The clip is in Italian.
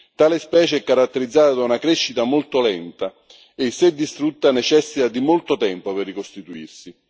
Tale specie è caratterizzata da una crescita molto lenta e, se distrutta, necessita di molto tempo per ricostituirsi.